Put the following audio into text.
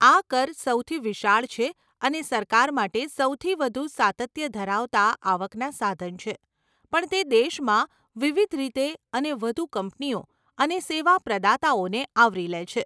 આ કર સૌથી વિશાળ છે અને સરકાર માટે સૌથી વધુ સાતત્ય ધરાવતાં આવકના સાધન છે પણ તે દેશમાં વિવિધ રીતે અને વધુ કંપનીઓ અને સેવા પ્રદાતાઓને આવરી લે છે.